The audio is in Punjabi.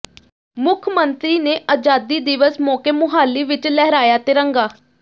ਮੁੱਖ ਮੰਤਰੀ ਨੇ ਆਜ਼ਾਦੀ ਦਿਵਸ ਮੌਕੇ ਮੁਹਾਲੀ ਵਿੱਚ ਲਹਿਰਾਇਆ ਤਿਰੰਗਾ